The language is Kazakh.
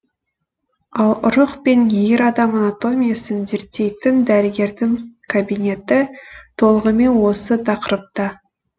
ал ұрық пен ер адам анатомиясын зерттейтін дәрігердің кабинеті толығымен осы тақырыпта